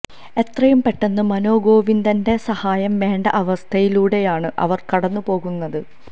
എത്രയും പെട്ടെന്ന് മനോരോഗവിദഗ്ധന്റെ സഹായം വേണ്ട അവസ്ഥയിലൂടെയാണ് അവർ കടന്നു പോകുന്നത്